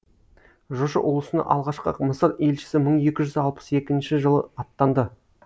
жошы ұлысына алғашқы мысыр елшісі мың екі жүз алпыс екінші жылы аттанды